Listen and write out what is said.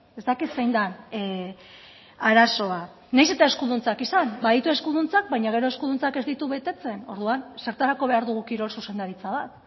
ez dakit zein den arazoa nahiz eta eskuduntzak izan baditu eskuduntzak baina gero eskuduntzak ez ditu betetzen orduan zertarako behar dugu kirol zuzendaritza bat